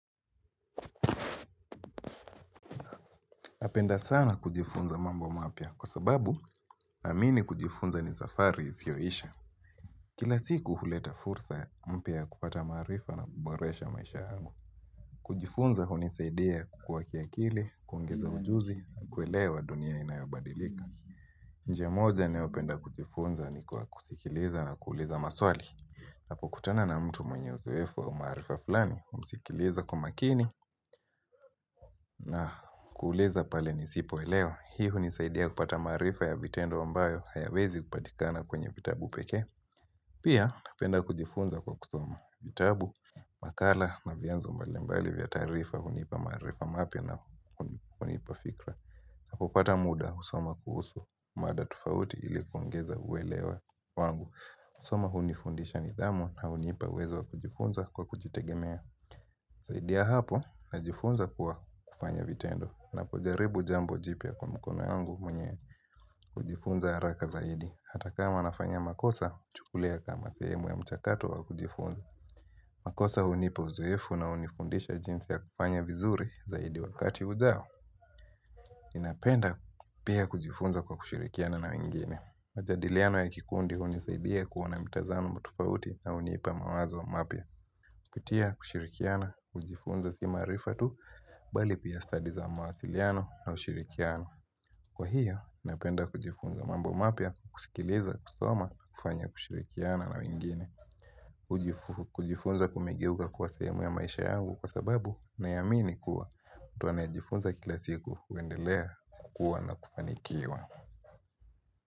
Napenda sana kujifunza mambo mapya kwa sababu naamini kujifunza ni safari isioisha. Kila siku huleta fursa mpya ya kupata maarifa na kuboresha maisha yangu. Kujifunza hunisaidia kukua kiakili, kuongeza ujuzi, kuelewa dunia inayobadilika. Njia moja nayopenda kujifunza ni kwa kusikiliza na kuuliza maswali. ninApo kutana na mtu mwenye uzoefu wa umaarifa fulani, humsikiliza kwa umakini na kuuliza pale nisipo elewa. Hii hunisaidia kupata maarifa ya vitendo ambayo hayawezi kupatikana kwenye vitabu pekee Pia napenda kujifunza kwa kusoma vitabu makala na vianzo mbali mbali vya taarifa hunipa maarifa mapya na hunipa fikra na kupata muda kusoma kuhusu mada tofauti ili kuongeza uwelewa wangu kUsoma hunifundisha nidhamu na hunipa uwezo wa kujifunza kwa kujitegemea zaidi ya hapo najifunza kwa kufanya vitendo niNapojaribu jambo jipya kwa mkono yangu mwenye kujifunza haraka zaidi Hata kama nafanya makosa, huchukulia kama sehemu ya mchakato wa kujifunza makosa hunipa uzoefu na hunifundisha jinsi ya kufanya vizuri zaidi wakati ujao Ninapenda pia kujifunza kwa kushirikiana na wengine majadiliano ya kikundi hunisaidia kuona mitazamo tofauti na hunipa mawazo mapya Kupitia kushirikiana, kujifunza si maarifa tu, bali pia study za mawasiliano na ushirikiano. Kwa hiyo, napenda kujifunza mambo mapya, kusikiliza, kusoma, kufanya kushirikiana na wengine. Kujifunza kumegeuka kwa sehemu ya maisha yangu kwa sababu naamini kuwa. Mtu anayejifunza kila siku, huendelea, kukua na kufanikiwa.